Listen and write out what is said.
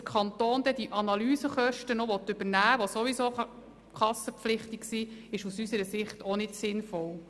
Dass der Kanton die Analysekosten übernehmen will, die sowieso krankenkassenpflichtig sind, ist aus unserer Sicht nicht sinnvoll.